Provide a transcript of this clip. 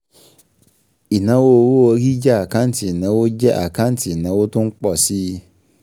Ìnáwó owó orí jẹ́ àkáǹtì ìnáwó jẹ́ àkáǹtì ìnáwó tó ń pọ̀ si